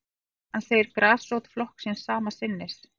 Hann segir grasrót flokksins sama sinnis